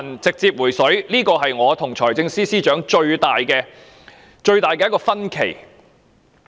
這是我和財政司司長最大的分歧。